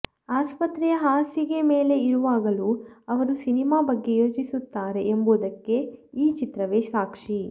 ಆಸ್ಪತ್ರೆಯ ಹಾಸಿಗೆ ಮೇಲೆ ಇರುವಾಗಲೂ ಅವರು ಸಿನಿಮಾ ಬಗ್ಗೆ ಯೋಚಿಸುತ್ತಾರೆ ಎಂಬುದಕ್ಕೆ ಈ ಚಿತ್ರವೇ ಸಾಕ್ಷಿ